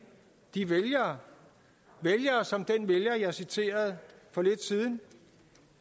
de vælgere vælgere som den vælger jeg citerede for lidt siden